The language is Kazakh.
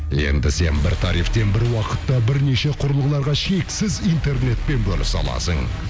енді сен бір тарифтен бір уақытта бірнеше құрылғыларға шексіз интернетпен бөлісе аласың